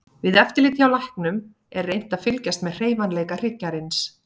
Við eftirlit hjá læknum er reynt að fylgjast með hreyfanleika hryggjarins.